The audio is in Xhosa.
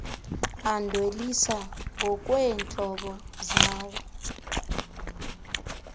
adweliswa ngokweentlobo zawo